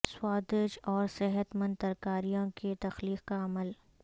سوادج اور صحت مند ترکاریاں کی تخلیق کا عمل